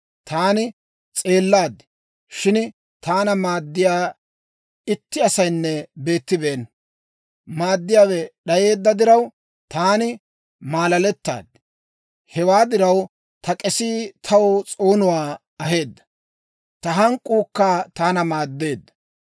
Taani s'eellaad; shin taana maaddiyaa itti asaynne beettibeenna. Maaddiyaawe d'ayeedda diraw, taani maalaalettaad. Hewaa diraw, ta k'esii taw s'oonuwaa aheedda; ta hank'k'uukka taana maaddeedda.